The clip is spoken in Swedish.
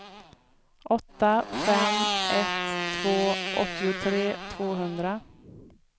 åtta fem ett två åttiotre tvåhundra